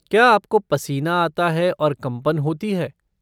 क्या आपको पसीना आता है और कंपन होती है?